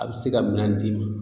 A be se ka minɛn d'i ma